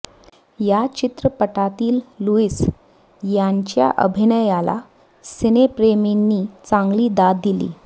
या चित्रपटांतील लुईस यांच्या अभिनयाला सिनेप्रेमींनी चांगली दाद दिली